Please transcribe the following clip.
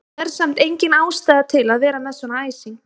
Það er samt engin ástæða til að vera með svona æsing!